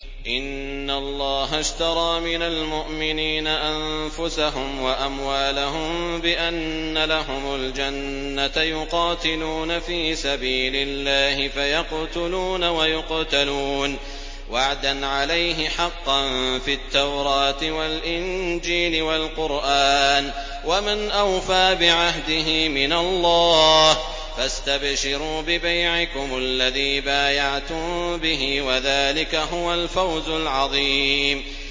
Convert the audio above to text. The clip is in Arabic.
۞ إِنَّ اللَّهَ اشْتَرَىٰ مِنَ الْمُؤْمِنِينَ أَنفُسَهُمْ وَأَمْوَالَهُم بِأَنَّ لَهُمُ الْجَنَّةَ ۚ يُقَاتِلُونَ فِي سَبِيلِ اللَّهِ فَيَقْتُلُونَ وَيُقْتَلُونَ ۖ وَعْدًا عَلَيْهِ حَقًّا فِي التَّوْرَاةِ وَالْإِنجِيلِ وَالْقُرْآنِ ۚ وَمَنْ أَوْفَىٰ بِعَهْدِهِ مِنَ اللَّهِ ۚ فَاسْتَبْشِرُوا بِبَيْعِكُمُ الَّذِي بَايَعْتُم بِهِ ۚ وَذَٰلِكَ هُوَ الْفَوْزُ الْعَظِيمُ